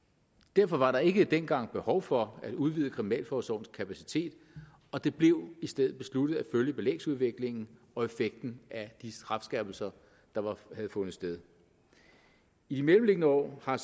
derfor var der ikke dengang behov for at udvide kriminalforsorgens kapacitet og det blev i stedet besluttet at følge belægsudviklingen og effekten af de retsskærpelser der havde fundet sted i de mellemliggende år har